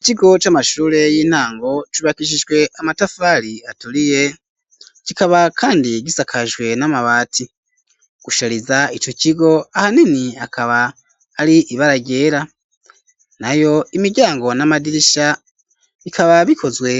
ikigo c'amashure y'intango cubakishijwe amatafari aturiye kikaba kandi gisakajwe n'amabati , kushariza ico cigo ahanini akaba ari ibara ryera, nayo imiryango n'amadirisha bikaba bikozwe